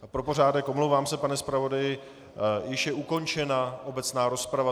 A pro pořádek - omlouvám se, pane zpravodaji - již je ukončena obecná rozprava.